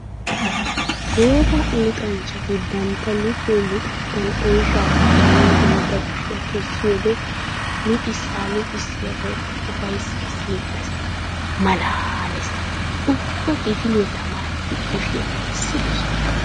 Gooba! Luxanchchatti bantta luxiyo luxenttan oyshsha zaaranawu bantta kushiya kessiyoode luxissa luxissiyagawukka ufayssay siyettes. Malaales! Ubba kifiliya tamaaretti kushiya kessidosnna.